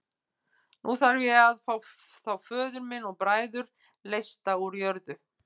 Nú þarf ég að fá þá föður minn og bræður leysta úr jörðu.